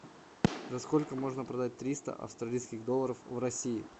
за сколько можно продать триста австралийских долларов в россии